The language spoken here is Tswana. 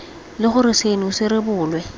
le gore seno se rebolwe